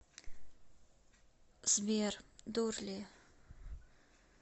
сбер дурли